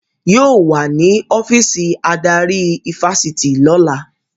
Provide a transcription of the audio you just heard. Yóò wà ní ọ́fíìsì adarí ifásitì lọ́la